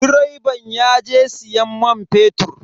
Direban yaje siyan man fetur.